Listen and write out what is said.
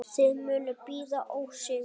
Þið munuð bíða ósigur.